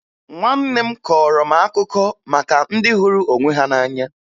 Nwanne m kọọrọ m akụkọ maka ndị hụrụ onwe ha n'anya